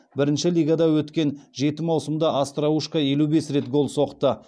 бірінші лигада өткен жетінші маусымда остроушко елу бес рет гол соқты